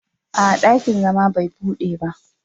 A'a, dakin zama bai bude ba.